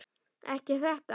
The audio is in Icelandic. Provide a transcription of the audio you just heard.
Ekki þetta.